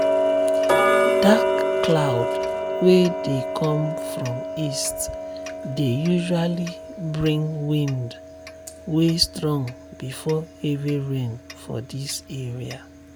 dark cloud wey dey come from east dey usually bring wind way strong before heavy rain for this area.